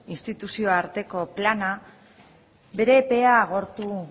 instituzio arteko plana bere epea agortu